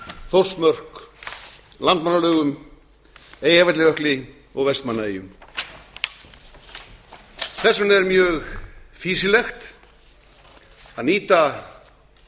þórsmörk landmannalaugum eyjafjallajökli og vestmannaeyjum þess vegna er mjög fýsilegt að nýta